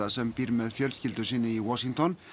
sem býr með fjölskyldu sinni í Washington